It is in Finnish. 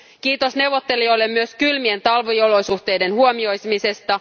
Kiitos neuvottelijoille myös kylmien talviolosuhteiden huomioimisesta.